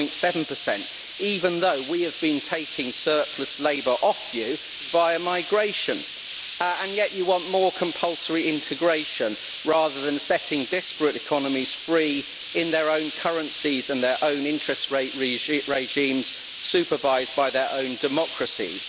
at 10.7, even though we have been taking surplus labour off you via migration, and yet you want more compulsory integration rather than setting disparate economies free in their own currencies with their own interest rate regimes, supervised by their own democracies.